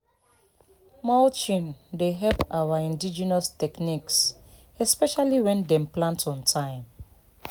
mulching dey help our indigenous techniques especially when dem plant on time.